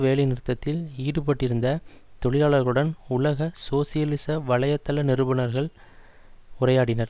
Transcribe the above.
வேலை நிறுத்தத்தில் ஈடுபட்டிருந்த தொழிலாளர்களுடன் உலக சோசியலிச வலைத்தள நிருபனர்கள் உரையாடினர்